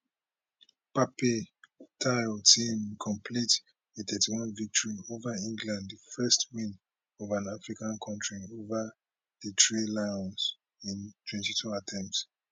pape thiaw team complete a thirty one victory ova england di first win for an african kontri ova di three lions in twenty two attempts